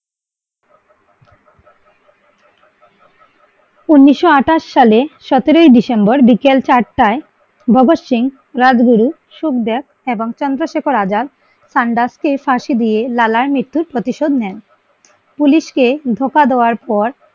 ঊনিশশো আঠাশ সালে সতেরোই ডিসেম্বর বিকেল চারটায় ভগৎ সিং রাজগুরু সুকদেব এবং চন্দ্রশেখর আজাদ লালার মৃত্যুর প্রতিশোধ নেন। পুলিশ কে ধোঁকা দেয়ার পর